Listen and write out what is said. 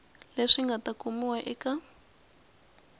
leswi nga ta kumiwa eka